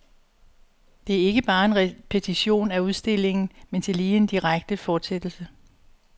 Det er ikke bare en repetition af udstillingen, men tillige en direkte fortsættelse.